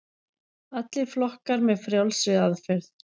Allir flokkar með frjálsri aðferð